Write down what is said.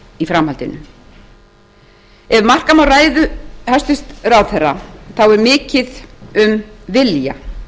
í framhaldinu ef marka má ræðu hæstvirts ráðherra er mikið um vilja